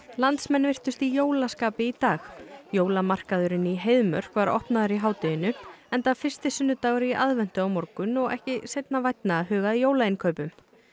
landsmenn virtust í jólaskapi í dag jólamarkaðurinn í Heiðmörk var opnaður í hádeginu enda fyrsti sunnudagur í aðventu á morgun og ekki seinna vænna að huga að jólainnkaupum